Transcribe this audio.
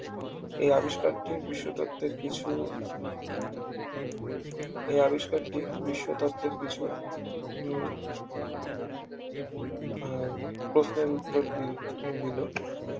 এই আবিষ্কার কে বিশ্ব তত্ত্বের কিছু এই আবিষ্কারটি বিশ্ব তত্ত্বের কিছু হম আহ প্রশ্নের উত্তর দিল দিলো